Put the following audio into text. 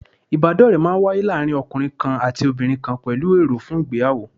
Ìbádọ́ọ̀rẹ́ máa n wáyé láàárín ọkùnrin kan àti obìnrin kan pẹ̀lú èrò fún ìgbéyàwó